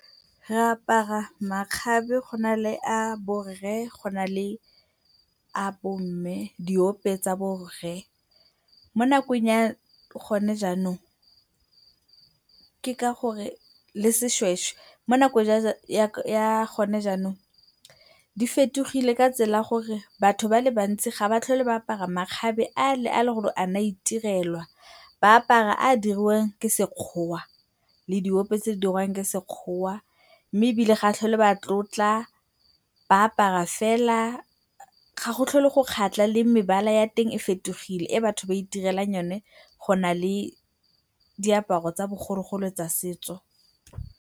Re apara makgabe, go na le a borre, go na le a bomme, diope tsa borre. Mo nakong ya gone jaanong ke ka gore le sešwešwe, mo nakong ya gone jaanong di fetogile ka tsela ya gore batho ba le bantsi ga ba tlhole ba apara makgabe ale a eleng gore a ne a itirelwa. Ba apara a a diriwang ka sekgowa le diope tse di dirwang ka sekgowa, mme ebile ga ba tlhole ba tlotla, ba apara fela. Ga go tlhole go kgatlha le mebala ya teng e fetogile e batho ba itirelang yone go na le diaparo tsa bogologolo tsa setso.